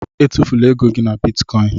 Étufula égo gị na bịtkọin